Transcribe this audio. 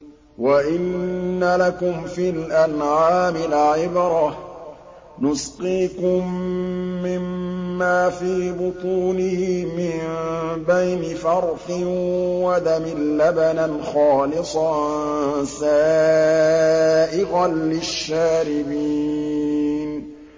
وَإِنَّ لَكُمْ فِي الْأَنْعَامِ لَعِبْرَةً ۖ نُّسْقِيكُم مِّمَّا فِي بُطُونِهِ مِن بَيْنِ فَرْثٍ وَدَمٍ لَّبَنًا خَالِصًا سَائِغًا لِّلشَّارِبِينَ